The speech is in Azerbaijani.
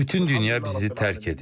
Bütün dünya bizi tərk edib.